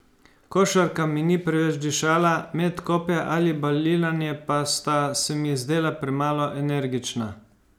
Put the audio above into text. Košarka mi ni preveč dišala, met kopja ali balinanje pa sta se mi zdela premalo energična.